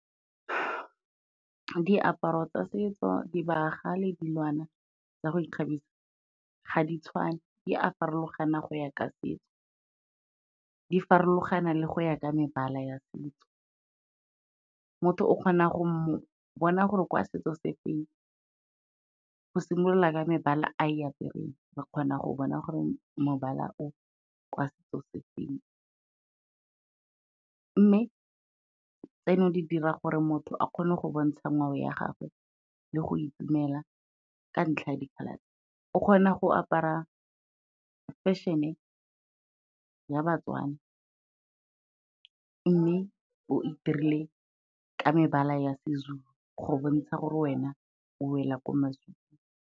Diaparo tsa setso, dibagwa le dilwana tsa go ikgabisa, ga di tshwane, di a farologana go ya ka setso, di farologana le go ya ka mebala ya setso. Motho o kgona go mo bona gore kwa setso se feng go simolola ka mebala a e apereng, re kgona go bona gore mobala o kwa setso se feng, mme tseno di dira gore motho a kgone go bontsha ngwao ya gagwe le go itumela ka ntlha ya diphalane, o kgona go apara fashion-e ya baTswana mme o e dirile ka mebala ya Sezulu, go bontsha gore wena o wela ko maZulung.